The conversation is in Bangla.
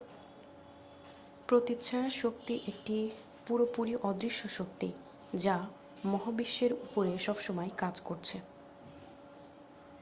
প্রতিচ্ছায়া শক্তি একটি পুরোপুরি অদৃশ্য শক্তি যা মহাবিশ্বের উপরে সবসময় কাজ করছে